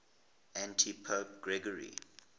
antipope gregory